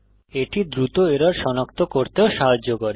এটি দ্রুত এরর সনাক্ত করতেও সাহায্য করে